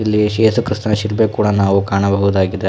ಇಲ್ಲಿ ಶೇಷು ಕ್ರಿಸ್ತನ ಶಿಲುಬೆ ಕೂಡ ನಾವು ಕಾಣಬಹುದಾಗಿದೆ.